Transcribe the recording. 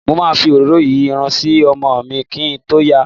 Mo ma fi òróró si Irun ọmọ mi kín tó yà.